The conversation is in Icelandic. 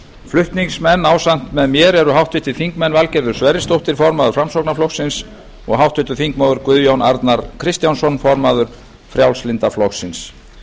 flutningsmenn ásamt mér eru háttvirtir þingmenn valgerður sverrisdóttir formaður framsóknarflokksins og háttvirtir þingmenn guðjón arnar kristjánsson formaður frjálslynda flokksins